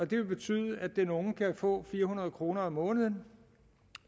det vil betyde at den unge kan få fire hundrede kroner om måneden